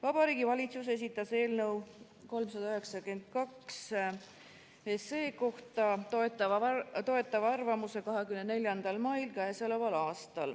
Vabariigi Valitsus esitas eelnõu 392 kohta toetava arvamuse k.a 24. mail.